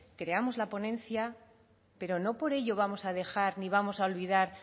creamos la ponencia pero no por ello vamos a dejar ni vamos a olvidar